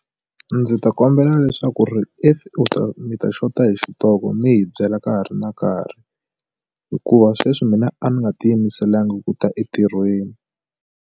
A ndzi ta kombela leswaku ri if i ta mi ta xota hi xitoko mi hi byela ka ha ri na nkarhi hikuva sweswi mina a ni nga ti yimiselanga ku ta entirhweni.